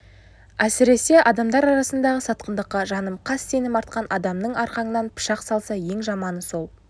әсіресе адамдар арасындағы сатқындыққа жаным қас сенім артқан адамың арқаңнан пышақ салса ең жаманы сол